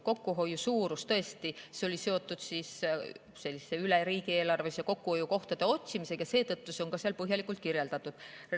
Kokkuhoid oli seotud üle riigieelarve kokkuhoiukohtade otsimisega ja seetõttu on see seal põhjalikult kirjeldatud.